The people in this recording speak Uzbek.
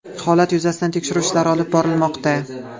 Holat yuzasidan tekshiruv ishlari olib borilmoqda.